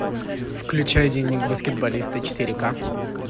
включай дневник баскетболиста четыре ка